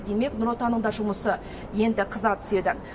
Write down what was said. демек нұр отанның да жұмысы енді қыза түседі